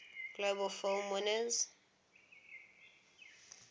globe film winners